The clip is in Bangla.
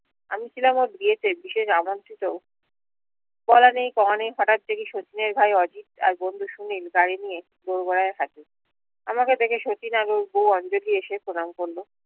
আমি ছিলাম বলা নেই কওয়া নেই হঠাৎ দেখি শচীনের ঘারে অজিত আর বন্ধু সুনিল গাড়ি নিয়ে দর গরায় থাকে আমাকে দেখে শচীন আর বউ অঞ্জলি এসে প্রণাম করলো